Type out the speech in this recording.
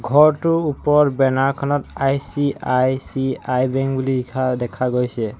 ঘৰটো ওপৰত বেনাৰ খনত আই_চি_আই_চি_আই বেংক বুলি লিখা দেখা গৈছে।